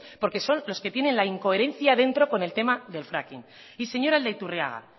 porque son los que tienen la incoherencia dentro con el tema del fracking y señor aldaiturriaga